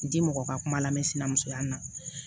N ti mɔgɔ ka kuma lamɛn sinamusoya ma